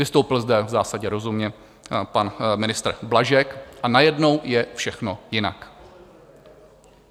Vystoupil zde v zásadě rozumně pan ministr Blažek a najednou je všechno jinak.